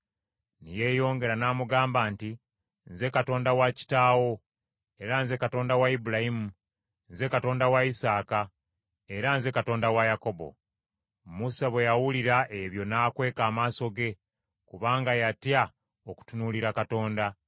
Ne yeeyongera n’amugamba nti, “Nze Katonda wa kitaawo, era nze Katonda wa Ibulayimu, nze Katonda wa Isaaka, era nze Katonda wa Yakobo.” Musa bwe yawulira ebyo n’akweka amaaso ge, kubanga yatya okutunuulira Katonda.